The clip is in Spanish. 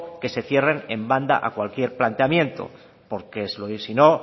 que se cierre en banda a cualquier planteamiento porque si no